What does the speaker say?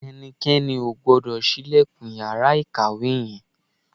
Ẹnikẹ́ni ò gbọ́dọ̀ ṣílẹ̀kùn yàrá ìkàwé yẹn